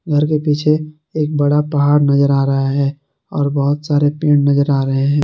घर के पीछे एक बड़ा पहाड़ नजर आ रहा है और बहोत सारे पेड़ नजर आ रहे हैं।